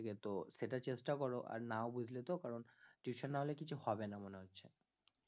তো সেটা চেষ্টা করো, আর না বুঝলে তো কারণ tuition না হলে কিছু হবে না মনে হচ্ছে